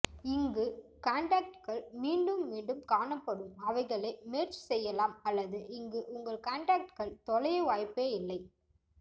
இங்கு கான்டாக்ட்கள் மீண்டும் மீண்டும் காணப்படும் அவைகளை மெர்ஜ் செய்யலாம் அல்லது இங்கு உங்கள் கான்டாக்ட்கள் தொலைய வாய்ப்பே இல்லை